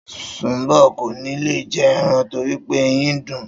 Sùnḿbò̩ kò ní lè je̩ e̩ran torí pé eyín ń dùn-ún